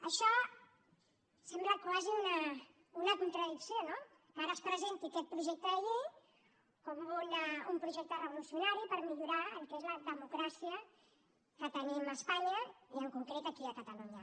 això sembla quasi una contradicció no que ara es presenti aquest projecte de llei com un projecte revolucionari per millorar el que és la democràcia que tenim a espanya i en concret aquí a catalunya